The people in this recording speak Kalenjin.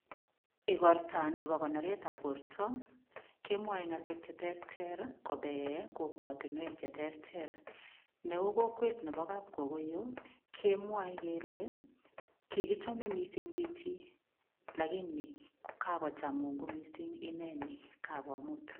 Igorto nebo konoretab borto, kemwoe ngalek cheterter kopee kokwatinwek che terter. Neu kokwet nebo kapkogoiyo, kemwae kele kigichome mising chichi lagini kakocham Mungu mising ineni kagomut.